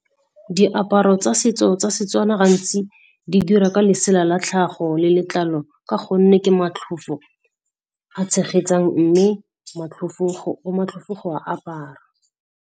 Diaparo tsa setso tsa Setswana gantsi di dira ka lesela la tlhago le letlalo ka gonne ke matlhofo a tshegetsang mme matlhofo, go matlhofo go a apara.